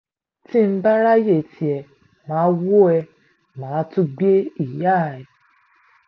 tí n bá ráàyè tiẹ̀ má a wò ẹ́ má a tún gbé ìyá ẹ